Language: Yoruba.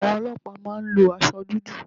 Àwọn ọlọ́pàá má a ń lo asọ dúdú